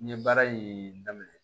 N ye baara in daminɛ